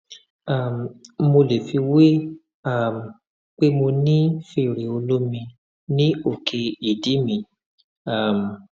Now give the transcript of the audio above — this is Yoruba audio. um mo lè fiwé um pé mo ní fèrè olómi ní òkè ìdí mi um